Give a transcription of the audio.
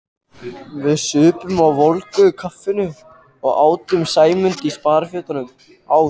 Við supum á volgu kaffinu og átum Sæmund á sparifötunum.